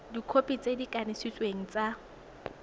dikhopi tse di kanisitsweng tsa